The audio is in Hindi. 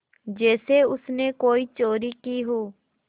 जैसे उसने कोई चोरी की हो